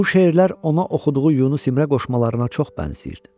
Bu şeirlər ona oxuduğu Yunus İmrə qoşmalarına çox bənzəyirdi.